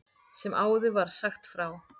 Sem áður var sagt frá.